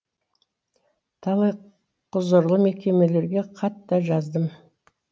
талай құзырлы мекемелерге хат та жаздым